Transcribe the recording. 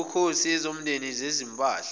zobukhosi ezomndeni ezezimpahla